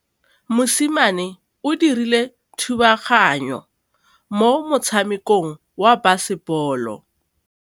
Mosimane o dirile thubaganyô mo motshamekong wa basebôlô.